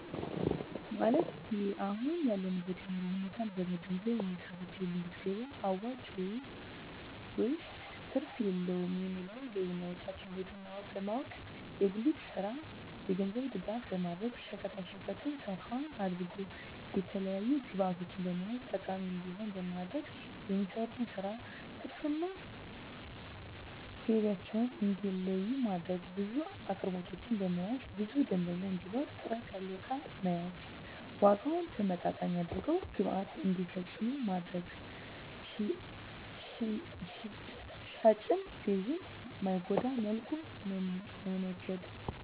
ማለት የአሁን ያለበትን የኑሮ ሁኔታ በመንገዘብ የሚሰሩት የጉሊት ገቢያ አዋጭ ነው ወይስ ትርፍ የለውም የሚለውን ገቢና ወጫቸውን ለይቶ በማወቅ። የጉሊቱን ስራ የገንዘብ ድጋፍ በማድረግ ሸቀጣሸቀጡን ሰፋ አድርገው የተለያዪ ግብዕቶችን በመያዝ ተጠቃሚ እንዲሆኑ ማድረግ። የሚሰሩበትን ስራ ትርፍ እና ገቢያቸውን እንዲለዪ ማድረግ። ብዙ አቅርቦቶችን በመያዝ ብዙ ደንበኛ እንዲኖር ጥራት ያለው እቃ መያዝ። ዋጋውን ተመጣጣኝ አድርገው ግብይት እንዲፈፅሙ ማድረግ። ሻጭንም ገዢንም በማይጎዳ መልኩ መነገድ